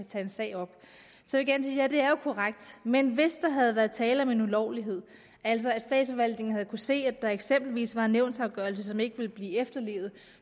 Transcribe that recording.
tage en sag op så er det er jo korrekt men hvis der havde været tale om en ulovlighed altså at statsforvaltningen havde se at der eksempelvis var en nævnsafgørelse som ikke ville blive efterlevet